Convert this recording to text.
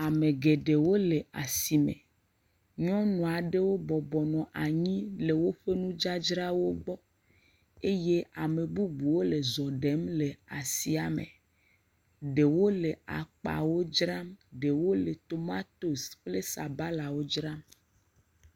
Ame geɖewo le asime. Nyɔnu aɖewo bɔbɔ nɔ anyi le woƒe nudzadzrawo gbɔ eye ame bubuwo le zɔ ɖem le asia me. Ɖewo le akpawo dzram, ɖewo le tomatosi kple sabalawo dzram.